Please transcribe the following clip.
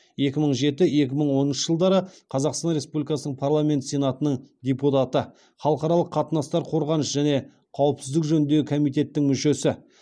екі мың жеті екі мың оныншы жылдары қазақстан республикасыпарламенті сенатының депутаты халықаралық қатынастар қорғаныс және қауіпсіздік жөніндегі комитеттің мүшесі